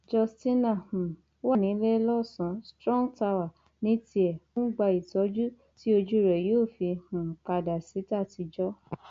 justina um wà níléelọsàn strong tower ní tiẹ ó ń gba ìtọjú tí ojú rẹ yóò fi um padà sí tàtijọ